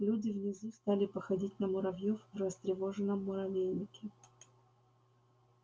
люди внизу стали походить на муравьёа а растревоженном муравейнике